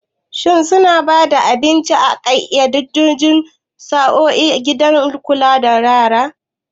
Shin suna ba da abinci a ƙayyadaddun sa'o'i a gidan kulawa da yara?